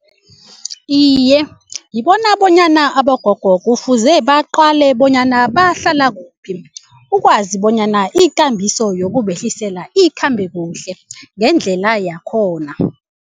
Iye, ngibona bonyana abogogo kufuze baqale bonyana bahlala kuphi ukwazi bonyana ikambiso yokubehlisela ikhambe kuhle ngendlela yakhona.